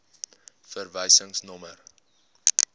verwysingsnommer